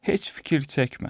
Heç fikir çəkmə.